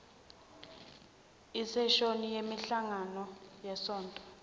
iseshoni yemihlangano yesonto